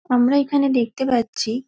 আমরা এইখানে দেখতে পারছি --